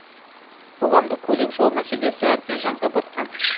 қоғамдық көлік жол мәселесі әбден жанға батқан